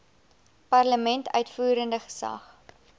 parlement uitvoerende gesag